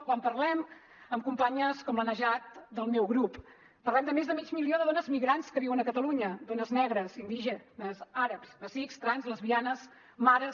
quan parlem amb companyes com la najat del meu grup parlem de més de mig milió de dones migrants que viuen a catalunya dones negres indígenes àrabs amazics trans lesbianes mares